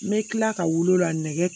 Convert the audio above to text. N bɛ tila ka wulu la nɛgɛ